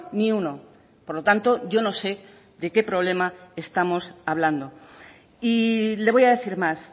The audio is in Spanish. ni uno por lo tanto yo no sé de qué problema estamos hablando y le voy a decir más